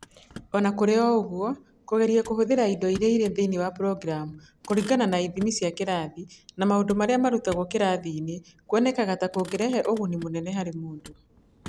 O na kũrĩ ũguo, kũgeria kũhũthĩra indo iria irĩ thĩinĩ wa programu kũringana na ithimi cia kĩrathi na maũndũ marĩa marutagwo kĩrathi-inĩ kuonekaga ta kũrehaga ũguni mũnene harĩ mũndũ.